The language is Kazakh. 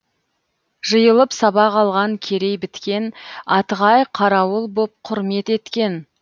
жиылып сабақ алған керей біткен атығай қарауыл боп құрмет еткен